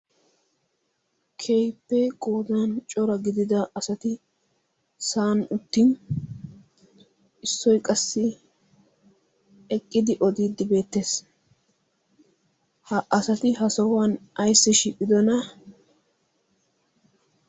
Keehippee godan cora gidida asati sa'an uttin, issoy qassi eqqidi odiiddi beettees. Ha asati ha sohuwan ayssi shiiqidona?